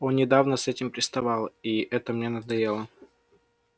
он недавно с этим приставал и это мне надоело